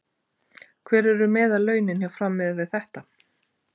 Hver eru meðallaunin hjá Fram miðað við þetta?